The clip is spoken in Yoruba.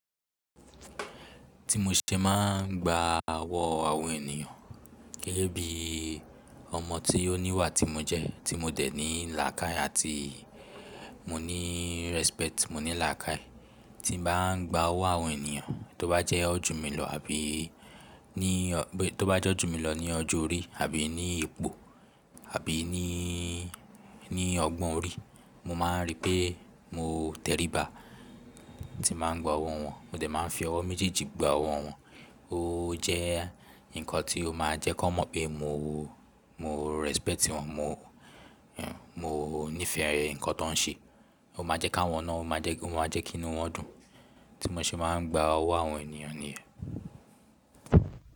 Tí mo ṣe máà ń gba ọwọ́ àwọn ènìyàn, gẹ́gẹ́ bí ọmọ tí ó níwà tí mo jẹ, tí mo dẹ̀ ní làákàì, àti mo ní respect, mo ní làákàì. Tí n bá gba ọwọ́ àwọn ènìyàn, tí ó bá jẹ́ wọ́n jù mí lọ àbí, ní tó bá jẹ́ wọ́n jù mí lọ ní ọjọ́ orí àbí ní ipò àbí ní ọgbọ́n orí, mo ma ń rí pé mo t'ẹríba tí n bá ń gba ọwọ́ wọn. Mo dẹ̀ má ń fi ọwọ́ méjèèjì gba ọwọ́ wọn. Ó jẹ́ ǹkan tí ó máa jẹ́ kí wọ́n mọ̀ pé mo mo respect wọn, mo mo nífẹ̀ẹ́ ǹkan tí wọ́n ń ṣe. Ó máa jẹ́ kí àwọn náà, ó máa jẹ́ kí inú wọn dùn. Tí mo ṣe máa ń gba ọwọ́ àwọn ènìyàn nìyẹn.